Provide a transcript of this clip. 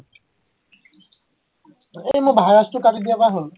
সেই মোৰ ভাইৰাছটো কাটি দিয়াৰ পৰা হল